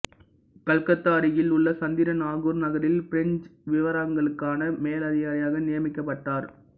கல்கத்தா அருகில் உள்ள சந்திர நாகூர் நகரில் பிரெஞ்சு விவகாரங்களுக்கான மேலதிகாரியாக நியமிக்கப்பட்டார்